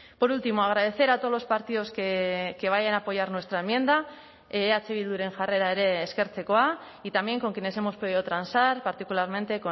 por último agradecer a todos los partidos que vayan a apoyar nuestra enmienda eh bilduren jarrera ere eskertzekoa y también con quienes hemos pedido transar particularmente